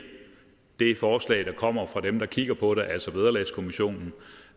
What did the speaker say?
det forslag der kommer fra dem der kigger på det altså vederlagskommissionen